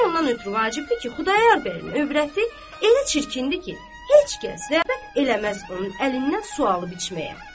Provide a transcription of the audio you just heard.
İkinci ondan ötrü vacibdir ki, Xudayar bəyin övrəti elə çirkindir ki, heç kəs rəğbət eləməz onun əlindən su alıb içməyə.